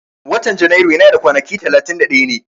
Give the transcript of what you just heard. Watan Janairu yana da kwanaki talatin da daya ne